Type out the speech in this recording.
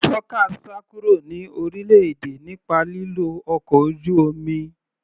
Dorcas sá kúrò ní orílẹ̀-èdè nípa lílo ọkọ̀ ojú omi.